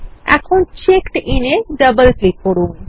এখানে check in a double click করুন